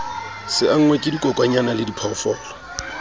se angwe ke dikokwanyana lediphoofolo